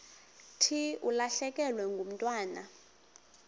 thi ulahlekelwe ngumntwana